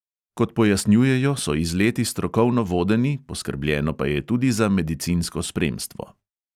Kot pojasnjujejo, so izleti strokovno vodeni, poskrbljeno pa je tudi za medicinsko spremstvo.